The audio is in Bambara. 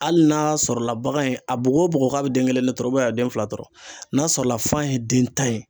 Hali n'a sɔrɔ la bagan in a bugu o bugu k'a den kelen de tɔrɔ a bɛ den fila tɔrɔ n'a sɔrɔla fan ye den tan ye